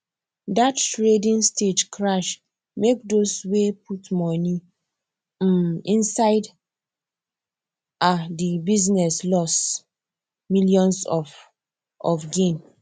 that trading stage crash make those way put money um inside um the business loss millions of of gain